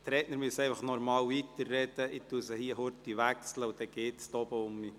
Die Redner müssen einfach normal weitersprechen, während ich kurz umschalte, damit es wieder funktioniert.